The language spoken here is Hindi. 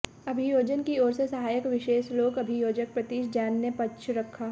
अभियोजन की ओर से सहायक विशेष लोक अभियोजक प्रतीश जैन ने पक्ष रखा